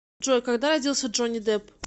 джой когда родился джонни депп